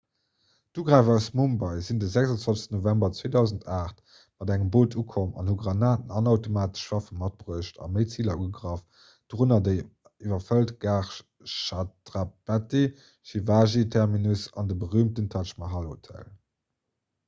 d'ugräifer aus mumbai sinn de 26 november 2008 mat engem boot ukomm an hu granaten an automatesch waffe matbruecht a méi ziler ugegraff dorënner déi iwwerfëllt gare chhatrapati shivaji terminus an de berüümten taj mahal hotel